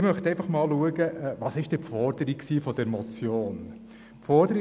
Ich möchte einfach mal schauen, was eigentlich die Forderung dieser Motion war.